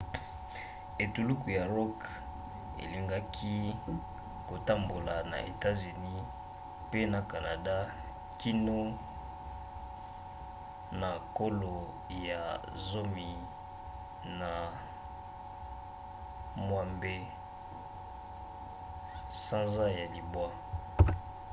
etuluku ya rock elingaki kotambola na etats-unis mpe na canada kino na kolo ya 16 sanza ya libwa